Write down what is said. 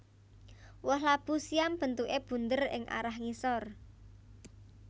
Woh labu siam bentuké bunder ing arah ngisor